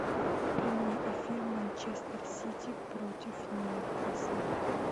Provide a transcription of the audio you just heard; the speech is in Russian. прямой эфир манчестер сити против ньюкасла